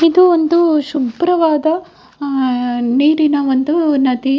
ಇದು ಒಂದು ಶುಭ್ರವಾದ ಆಹ್ಹ್ ನೀರಿನ ಒಂದು ನದಿ .